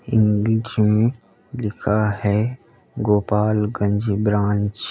English में लिखा है गोपालगंज ब्रांच ।